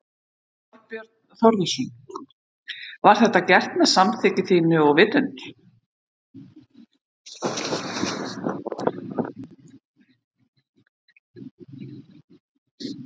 Þorbjörn Þórðarson: Var þetta gert með samþykki þínu og vitund?